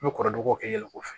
N bɛ kɔrɔdɔrɔw kɛ yɛlɛko fɛ